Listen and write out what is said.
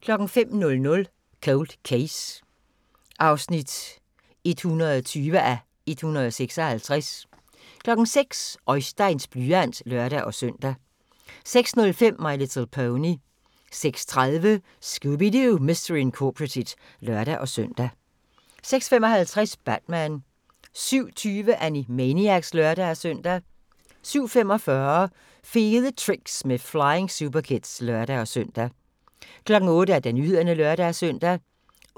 05:00: Cold Case (120:156) 06:00: Oisteins blyant (lør-søn) 06:05: My Little Pony 06:30: Scooby-Doo! Mystery Incorporated (lør-søn) 06:55: Batman 07:20: Animaniacs (lør-søn) 07:45: Fede Tricks med Flying Superkids (lør-søn) 08:00: Nyhederne (lør-søn)